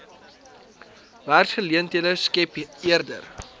werksgeleenthede skep eerder